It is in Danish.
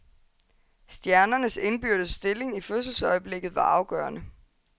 Stjernernes indbyrdes stilling i fødselsøjeblikket var afgørende.